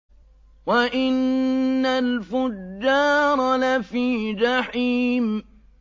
وَإِنَّ الْفُجَّارَ لَفِي جَحِيمٍ